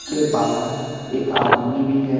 ये बाहर एक आदमी भी है।